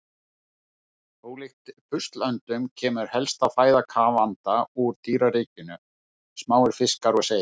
Ólíkt buslöndum kemur helsta fæða kafanda úr dýraríkinu, smáir fiskar og seiði.